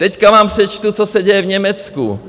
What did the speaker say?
Teď vám přečtu, co se děje v Německu.